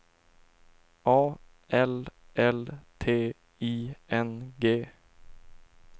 A L L T I N G